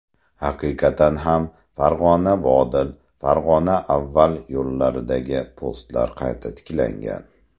Haqiqatan ham Farg‘onaVodil, Farg‘onaAvval yo‘llaridagi postlar qayta tiklangan.